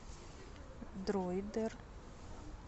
дроидер